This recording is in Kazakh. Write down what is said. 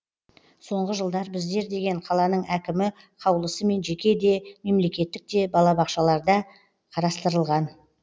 соңғы жылдар біздер деген қаланың әкімі қаулысымен жеке де мемлекеттік те балабақшаларда қарастырылған